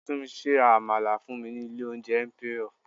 Tunmise ra àmàlà fún mi ní ilé oúnjẹ Emperor.